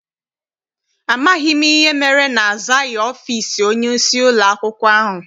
Amaghị m ihe mere na-azaghị ọfịịsi onyeisi ụlọakwụkwọ ahụ.